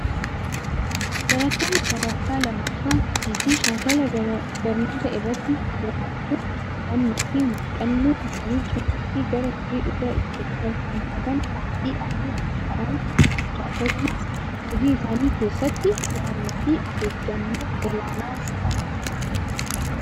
barattoonni sadarkaa lammaffaa hojii fi shaakala barnoota irratti hirmaachuun hubannoo fi muxannoo isaanii cimsuu fi gara hojii dhugaa ittiin tarkaanfatan qophii akka ta'aan gumaacha. akasumaas hojii isaanii keessatti kutannoo fi ofeeggannoo olaanaa akka qabaatan godha.